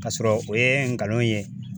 K'a sɔrɔ o ye ngalon ye.